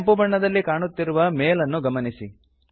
ಕೆಂಪು ಬಣ್ಣದಲ್ಲಿ ಕಾಣುತ್ತಿರುವ ಮೇಲ್ ಅನ್ನು ಗಮನಿಸಿ